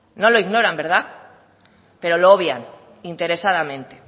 no lo ignoran verdad pero lo obvian interesadamente